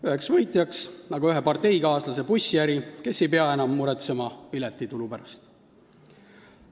Üheks võitjaks on ühe parteikaaslase bussiäri, sest tema ei pea enam muretsema piletitulu pärast.